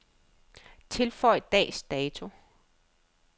Tilføj dags dato.